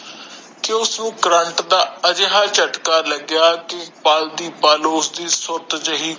ਕਿ ਉਸਨੂੰ ਕਰੰਟ ਦਾ ਜਟਕਾ ਲਗਯਾ ਕਿ ਪਲ ਦੀ ਪਲ ਉਸਦੀ ਸੁਤ ਜਿਹੀ